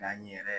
N'an yɛrɛ